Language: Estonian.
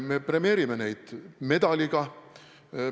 Me premeerime neid medaliga.